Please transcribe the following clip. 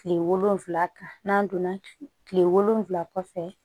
Kile wolonfila kan n'an donna kilen wolonwula kɔfɛ